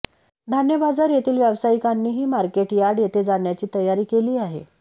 धान्य बाजार येथील वयावसायिकांनही मार्केटयार्ड येथे जाण्याची तयारी केली आहे